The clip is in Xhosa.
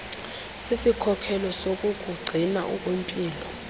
sisikhokelo sokukugcina ukwimpilo